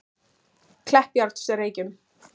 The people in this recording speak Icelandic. Kleppjárnsreykjum